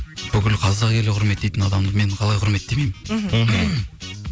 бүкіл қазақ елі құрметтейтін адамды мен қалай құрметтемеймін мхм